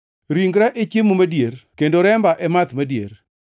Ringra e chiemo madier kendo remba e math madier.